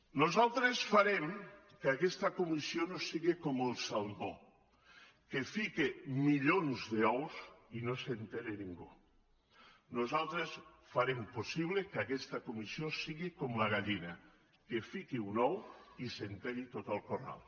nosaltres farem que aquesta comissió no siga com el salmó que fica milions d’ous i no se n’assabenta ningú nosaltres farem possible que aquesta comissió siga com la gallina que fiqui un ou i se n’assabenti tot el corral